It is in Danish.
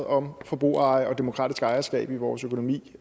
om forbrugereje og demokratisk ejerskab i vores økonomi